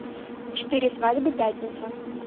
четыре свадьбы пятница